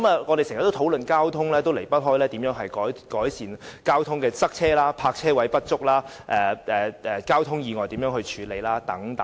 我們經常討論交通，當中總離不開如何改善交通擠塞、泊車位不足、如何處理交通意外等。